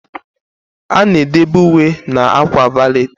A na-edobe uwe na akwa valeti.